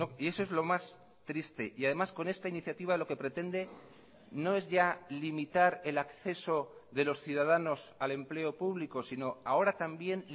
y eso es lo más triste y además con esta iniciativa lo que pretende no es ya limitar el acceso de los ciudadanos al empleo público sino ahora también